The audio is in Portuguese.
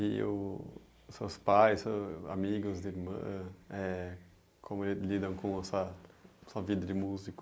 E o seus pais, seus amigos, irmã, é... como ele lidam com sua com a vida de músico.